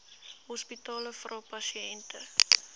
hospitale vra pasiënte